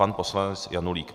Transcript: Pan poslanec Janulík.